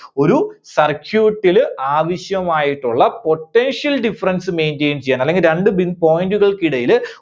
ഒരു circuit ല് ആവശ്യമായിട്ടുള്ള Potential difference maintain ചെയ്യാൻ അല്ലെങ്കിൽ രണ്ട് ബി point കൾക്കിടയില്